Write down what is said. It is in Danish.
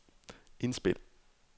indspil